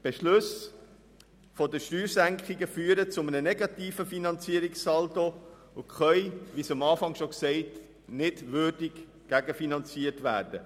Die Beschlüsse über die Steuersenkungen führen zu einem negativen Finanzierungssaldo und können nicht würdig gegenfinanziert werden.